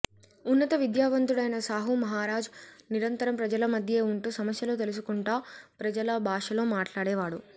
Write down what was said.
ఉన్నత విద్యావంతుడైన సాహు మహారాజ్ నిరంతరం ప్రజల మధ్యే ఉంటూ సమస్యలు తెలుసుకుంటా ప్రజల భాషలో మాట్లాడేవాడు